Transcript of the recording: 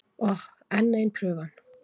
Oh, enn ein prufan.